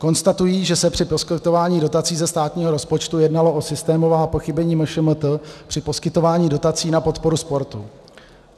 Konstatují, že se při poskytování dotací ze státního rozpočtu jednalo o systémová pochybení MŠMT při poskytování dotací na podporu sportu.